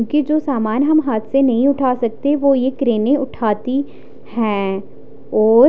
क्युकी जो सामान हम हाथ से नहीं उठा सकते वो यह क्रेने उठाती है और--